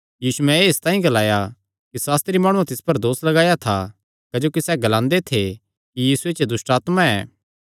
यीशुयैं एह़ इसतांई ग्लाया कि सास्त्री माणुआं तिस पर दोस लगाया था क्जोकि सैह़ एह़ ग्लांदे थे कि यीशु च दुष्टआत्मा ऐ